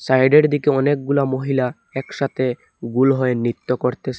সাইডের দিকে অনেকগুলা মহিলা একসাথে গোল হয়ে নৃত্য করতেসে।